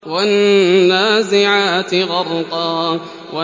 وَالنَّازِعَاتِ غَرْقًا